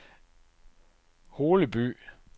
Holeby